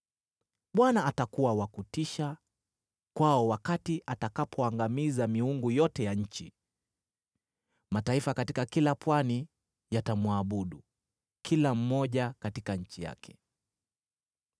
Bwana atakuwa wa kuhofisha kwao atakapoangamiza miungu yote ya nchi. Mataifa katika kila pwani yatamwabudu, kila moja katika nchi yake.